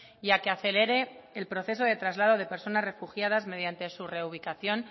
y a que acelere el proceso de traslado de personas refugiadas mediante su reubicación